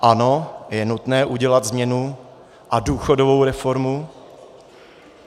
Ano, je nutné udělat změnu a důchodovou reformu.